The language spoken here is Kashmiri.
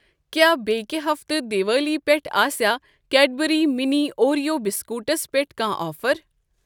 کیٛاہ بیٚکہِ ہفتہٕ دِوالی پٮ۪ٹھ آسیا کیڑبرٛی مِنی اوریو بِسکوٖٹِس پٮ۪ٹھ کانٛہہ آفر؟